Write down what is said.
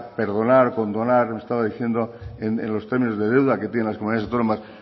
perdonar condonar como estaba diciendo en los términos de deuda que tienen las comunidades autónomas